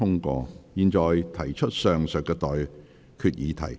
我現在向各位提出上述待決議題。